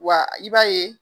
Wa i b'a ye.